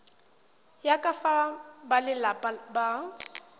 ya ka fa balelapa ba